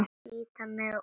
Bíta mig og klóra.